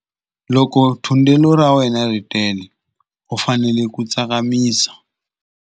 Loko thundelo ra wena ri tele u fanele ku tsakamisa.